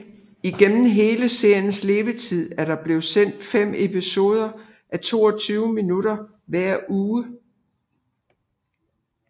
Igennem hele seriens levetid er der blevet sendt fem episoder á 22 minutter hver uge